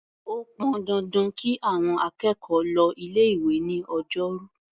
Ó pọn dandan kí àọn akẹ́kọ̀ọ́ lọ ilé-ìwé ní Ọjọ́rú.